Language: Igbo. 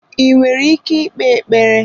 I nwere ike ikpe ekpere?